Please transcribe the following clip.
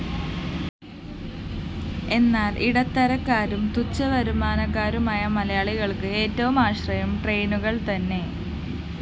എന്നാല്‍ ഇടത്തരക്കാരും തുച്ഛവരുമാനക്കാരുമായ മലയാളികള്‍ക്ക്‌ ഏറ്റവും ആശ്രയം ട്രെയിനുകള്‍ തന്നെ